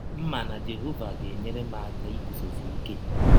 M ma na Jehọva ga - enyere m aka igụzọsi ike.